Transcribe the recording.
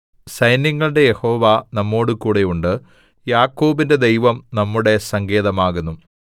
സൈന്യങ്ങളുടെ യഹോവ നമ്മോടുകൂടെ ഉണ്ട് യാക്കോബിന്റെ ദൈവം നമ്മുടെ സങ്കേതം ആകുന്നു സേലാ